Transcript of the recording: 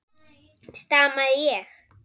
stamaði ég.